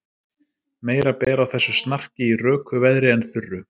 Meira ber á þessu snarki í röku veðri en þurru.